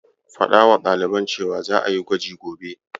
Faɗawa ɗaliban cewa za'a yi gwaji gobe.